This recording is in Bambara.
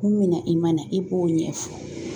Kun min na i ma na i b'o ɲɛfɔ